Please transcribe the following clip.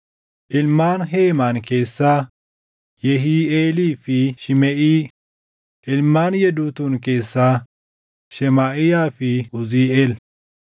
ilmaan Heemaan keessaa, Yehiiʼeelii fi Shimeʼii; ilmaan Yeduutuun keessaa, Shemaaʼiyaa fi Uziiʼeel.